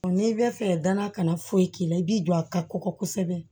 n'i bɛ fɛ gana kana foyi k'i la i b'i don a ka kɔkɔ kosɛbɛ